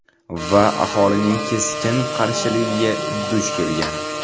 Va aholining keskin qarshiligiga duch kelgan.